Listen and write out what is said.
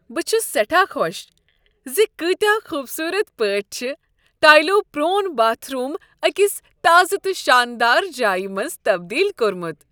بہٕ چھس سیٹھاہ خوش ز کۭتِیاہ خوبصورت پٲٹھۍ چھ ٹٲلَو پروون باتھ روم ٲکس تازہ تہٕ شاندار جایہ منز تبدیل کوٚرمت۔